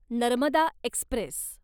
Narmada Express